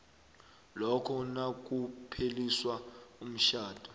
lokha nakupheliswa umtjhado